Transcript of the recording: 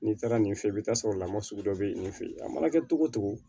N'i taara nin fɛ i bi taa sɔrɔ lamugu sugu dɔ be yen nin fe yen a mana kɛ cogo o cogo